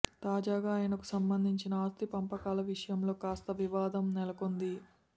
తాజాగా ఆయనకు సంబంధించిన ఆస్తి పంపకాల విషయంలో కాస్త వివాదం నెలకొంది